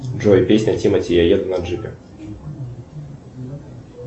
джой песня тимати я еду на джипе